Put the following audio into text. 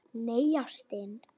Nei, ástin.